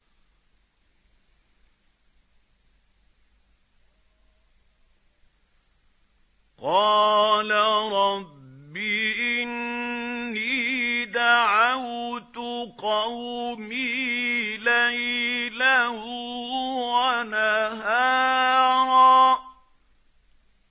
قَالَ رَبِّ إِنِّي دَعَوْتُ قَوْمِي لَيْلًا وَنَهَارًا